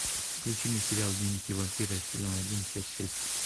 включи мне сериал дневники вампира сезон один часть шесть